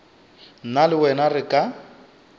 nna le wena re ka